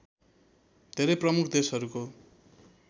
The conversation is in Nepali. धेरै प्रमुख देशहरूको